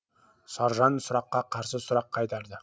саржан сұраққа қарсы сұрақ қайтарды